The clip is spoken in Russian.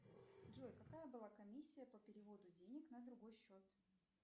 джой какая была комиссия по переводу денег на другой счет